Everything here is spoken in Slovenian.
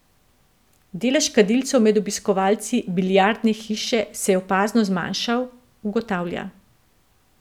Delež kadilcev med obiskovalci Biljardne hiše se je opazno zmanjšal, ugotavlja.